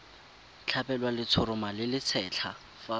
tlhabelwa letshoroma le lesetlha fa